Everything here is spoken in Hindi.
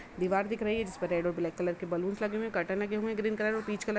दीवार दिख रही है जिस पर रेड और ब्लैक कलर के बैलून्स लगे हुए हैं। कर्टन लगे हुएं हैं ग्रीन कलर और पीच कलर --